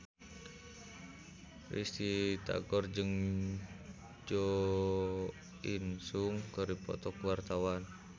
Risty Tagor jeung Jo In Sung keur dipoto ku wartawan